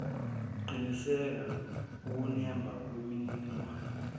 qinisekisa ukunemba kwemininingwane